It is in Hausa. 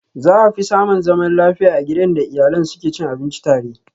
Za afi samun zaman lafiya a gidan da iyalen su ke cin abinci a tare.